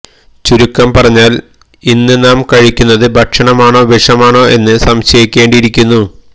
ചുരുക്കം പറഞ്ഞാല് ഇന്ന് നാം കഴിക്കുന്നത് ഭക്ഷണമാണോ വിഷമാണോ എന്ന് സംശയിക്കേണ്ടിയിരിക്കുന്നു